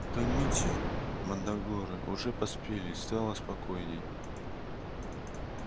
поймите мандрагоры уже поспели и стало спокойнее